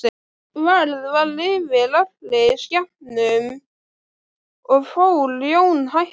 Værð var yfir allri skepnu og fór Jón hægt um.